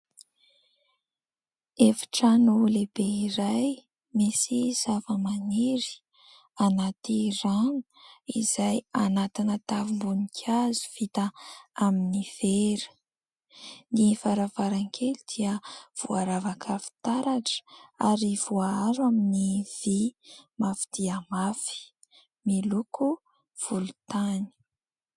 Efitrano lehibe iray misy zava-maniry anaty rano izay anatina tavim-boninkazo vita amin'ny vera. Ny varavarankely dia voaravaka fitaratra ary voaaro amin'ny vy mafy dia mafy miloko volontany.